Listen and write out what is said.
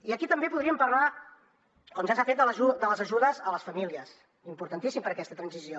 i aquí també podríem parlar com ja s’ha fet de les ajudes a les famílies importantíssim per a aquesta transició